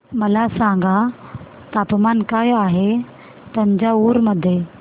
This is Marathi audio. मला सांगा तापमान काय आहे तंजावूर मध्ये